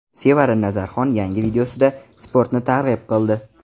Sevara Nazarxon yangi videosida sportni targ‘ib qildi.